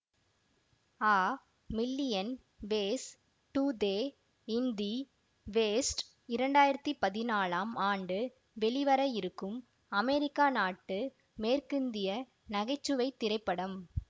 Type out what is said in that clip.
a million ways to die in the west இரண்டாயிரத்தி பதினாலாம் ஆண்டு வெளிவர இருக்கும் அமெரிக்கா நாட்டு மேற்கிந்திய நகை சுவை திரைப்படம்